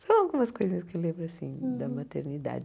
São algumas coisas que eu lembro assim da maternidade.